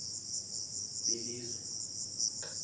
belizwe